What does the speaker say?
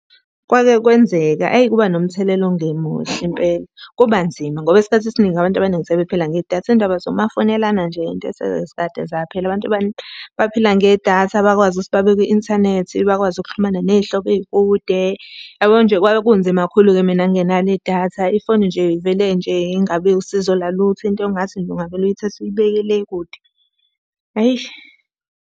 Kwake kwenzeka, hheyi kuba nomthelela ongemuhle impela. Kuba nzima ngoba isikhathi esiningi abantu abaningi sebephila ngedatha. Iy'ndaba zomafonelana nje into esezikade zaphela, abantu baphila ngedatha bakwazi ukuthi babe kwi-inthanethi bakwazi ukuxhumana ney'hlobo ey'kude. Yabo nje kwakunzima kakhulu-ke mina ngingenalo idatha, ifoni nje ivele nje Ingabi usizo lalutho, into engathi nje ungavele uyithathe uyibeke le kude. Hhayi.